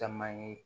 Caman ye